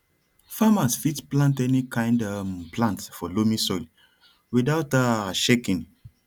farmers fit plant any kind um plant for loamy soil without um shaking